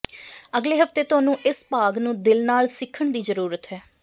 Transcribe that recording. ਅਗਲੇ ਹਫ਼ਤੇ ਤੁਹਾਨੂੰ ਇਸ ਭਾਗ ਨੂੰ ਦਿਲ ਨਾਲ ਸਿੱਖਣ ਦੀ ਜ਼ਰੂਰਤ ਹੈ